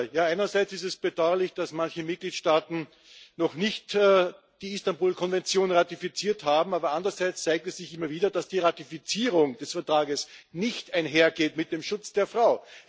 Einerseits ist es bedauerlich, dass manche Mitgliedstaaten noch nicht die Istanbul Konvention ratifiziert haben, aber andererseits zeigt es sich immer wieder, dass die Ratifizierung des Vertrages nicht einhergeht mit dem Schutz der Frau.